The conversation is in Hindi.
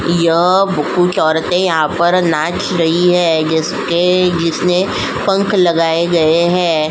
यह कुछ औरतें यहाँ पर नाच रही है जैसे कि जिसने पंख लगाए गए हैं।